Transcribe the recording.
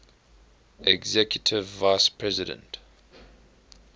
executive vice president